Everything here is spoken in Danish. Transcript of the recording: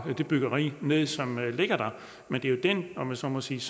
det byggeri ned som ligger der men det er jo den om jeg så må sige